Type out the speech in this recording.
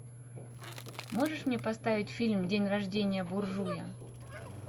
можешь мне поставить фильм день рождения буржуя